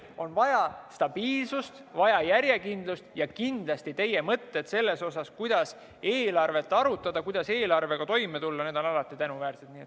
On vaja stabiilsust, on vaja järjekindlust ja kindlasti teie mõtted selle kohta, kuidas eelarvet arutada, kuidas eelarvega toime tulla, on alati tänuväärsed.